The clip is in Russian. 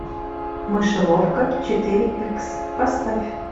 мышеловка четыре икс поставь